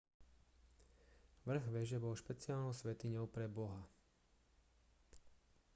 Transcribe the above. vrch veže bol špeciálnou svätyňou pre boha